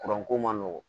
ko man nɔgɔn